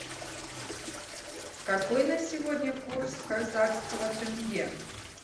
какой на сегодня курс казахского тенге